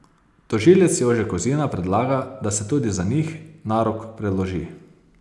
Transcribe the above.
Tožilec Jože Kozina predlaga, da se tudi za njih narok preloži.